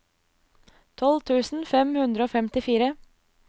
tolv tusen fem hundre og femtifire